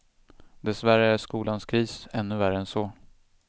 Dessvärre är skolans kris ännu värre än så.